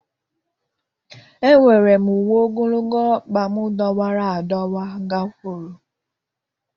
Ewere m uwe ogologo ọkpa m dọwara adọwa gakwuru.